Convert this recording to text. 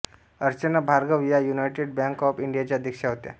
अर्चना भार्गव या United Bank of इंडियाच्या अध्यक्षा होत्या